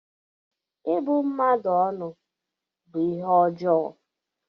Ịbụ mmadụ ọnụ bú ihe ọjọọ.